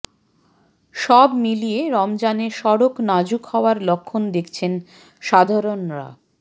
সব মিলিয়ে রমজানে সড়ক নাজুক হওয়ার লক্ষণ দেখছেন সাধারণরা